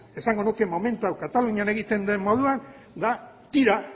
esango nuke momentu hau katalunian egiten den moduan da tira